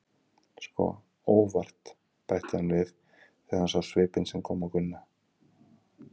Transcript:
Sko, ÓVART, bætti hann við þegar hann sá svipinn sem kom á Gunna.